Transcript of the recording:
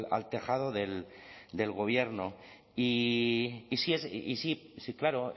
al tejado del gobierno y sí sí sí claro